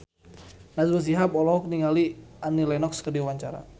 Najwa Shihab olohok ningali Annie Lenox keur diwawancara